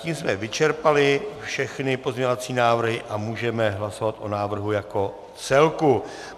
Tím jsme vyčerpali všechny pozměňovací návrhy a můžeme hlasovat o návrhu jako celku.